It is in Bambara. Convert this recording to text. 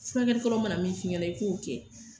Furakɛlikɛla mana min f'i ɲɛna,i k'o kɛ.